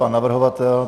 Pan navrhovatel?